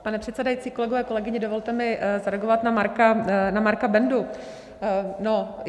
Pane předsedající, kolegyně, kolegové, dovolte mi zareagovat na Marka Bendu.